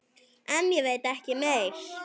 En ég veit ekki meir.